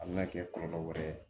A bɛna kɛ kɔlɔlɔ wɛrɛ ye